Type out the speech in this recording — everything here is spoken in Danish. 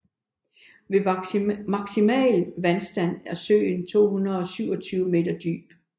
Ved maksimal vandstand er søen 227 meter dyb